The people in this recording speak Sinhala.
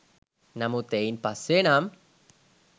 නමුත් එයින් පස්සේ නම්